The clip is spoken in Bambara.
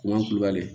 N'an kulubali